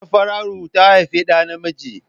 Safara'u ta haifi ɗa namiji.